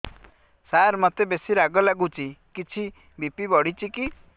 ସାର ମୋତେ ବେସି ରାଗ ଲାଗୁଚି କିଛି ବି.ପି ବଢ଼ିଚି କି